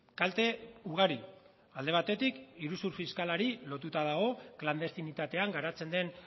kalte ugari alde batetik iruzur fiskalari lotuta dago klandestinitatean garatzen den